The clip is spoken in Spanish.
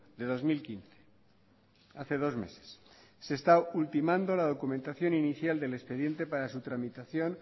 de dos mil quince hace dos meses se está ultimando la documentación inicial del expediente para su tramitación